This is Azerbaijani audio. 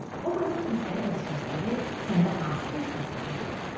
Obrazın hissləri və düşüncələri səndə hansı təəssüratları yaradır?